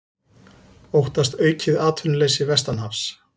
Óttast aukið atvinnuleysi vestanhafs